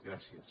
gràcies